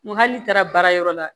Nga hali n'i taara baarayɔrɔ la